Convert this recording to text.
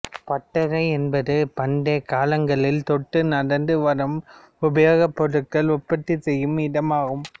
பட்டறை என்பது பண்டைக் காலங்கள் தொட்டு நடந்து வரும் உபயோகப் பொருட்கள் உற்பத்தி செய்யும் இடம் ஆகும்